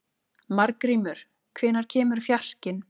Margrímur, hvenær kemur fjarkinn?